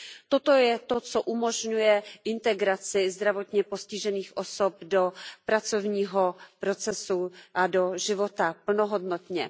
Toto je to, co umožňuje integraci zdravotně postižených osob do pracovního procesu a do života plnohodnotně.